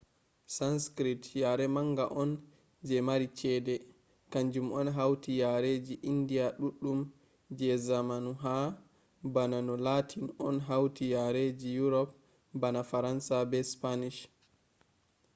sanskrit yare manga on je mari chede kanjum on hauti yareji indiya ɗuɗɗum je zamanu ha bana no latin on hauti yareji yurop bana faransa be spanish